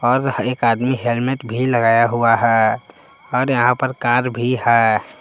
और एक आदमी हेलमेट भी लगाया हुआ है और यहां पर कार भी है।